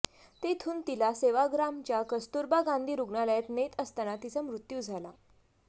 तेथून तिला सेवाग्रामच्या कस्तुरबा गांधी रुग्णालयात नेत असताना तिचा मृत्यू झाला